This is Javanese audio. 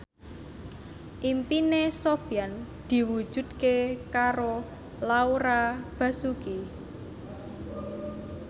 impine Sofyan diwujudke karo Laura Basuki